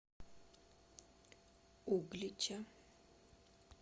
углича